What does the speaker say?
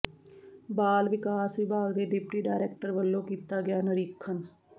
ਬਾਲ ਵਿਕਾਸ ਵਿਭਾਗ ਦੇ ਡਿਪਟੀ ਡਾਇਰੈਕਟਰ ਵੱਲੋਂ ਕੀਤਾ ਗਿਆ ਨਿਰੀਖਣ